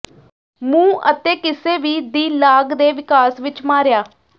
ਮੂੰਹ ਅਤੇ ਕਿਸੇ ਵੀ ਦੀ ਲਾਗ ਦੇ ਵਿਕਾਸ ਵਿੱਚ ਮਾਰਿਆ